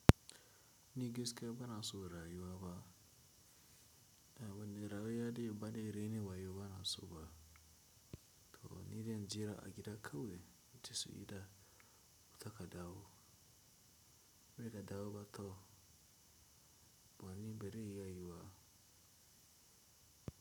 Ni gaskiya bana so rayuwa ba. A wane rayuwa da baɗi raini ba yiwu bana so ba. Toh ni dai jira a gida kawai ita su yi da wuta ka dawo, bai da dawo ba to bani bari iya yiwuwa.